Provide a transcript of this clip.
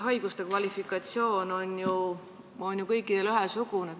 Haiguste kvalifikatsioon on ju kõikjal ühesugune.